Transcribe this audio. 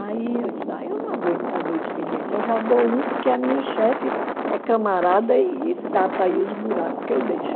Aí eu disse eu não aguento dar dois expedientes, eu já dou um porque a minha chefe é camarada e e tapa aí os buracos que eu deixo.